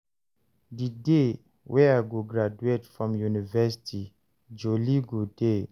di day wey I go graduate from university, jolly go dey